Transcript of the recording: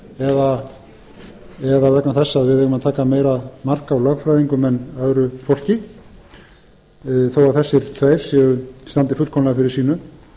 eða vegna þess að við eigum að taka meira mark á lögfræðingum en öðru fólki þó að þessir tveir standi fullkomlega fyrir sínu